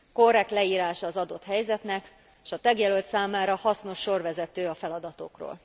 Korrekt leírása az adott helyzetnek, s a tagjelölt számára hasznos sorvezető a feladatokról.